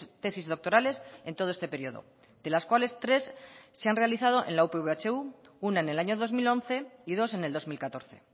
tesis doctorales en todo este periodo de las cuales tres se han realizado en la upv ehu una en el año dos mil once y dos en el dos mil catorce